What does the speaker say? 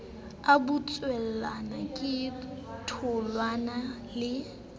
a butswelana ka tholwana le